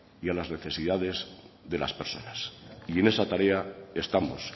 y a las necesidades de las personas y en esa tarea estamos